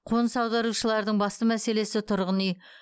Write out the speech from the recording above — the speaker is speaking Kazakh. қоныс аударушылардың басты мәселесі тұрғын үй